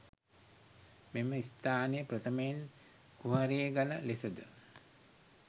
මෙම ස්ථානය ප්‍රථමයෙන් කුහරේ ගල ලෙසද